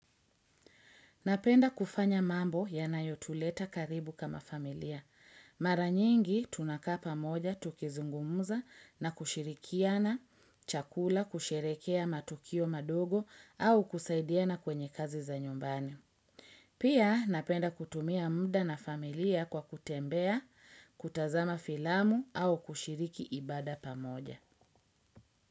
Napenda kufanya mambo yanayo tuleta karibu kama familia. Mara nyingi tunakaa pamoja tukizungumuza na kushirikiana chakula kusherehekea matukio madogo au kusaidiana kwenye kazi za nyumbani. Pia napenda kutumia mda na familia kwa kutembea, kutazama filamu au kushiriki ibada pamoja.